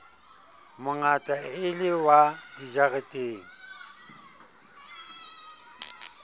mongata e le wa dijareteng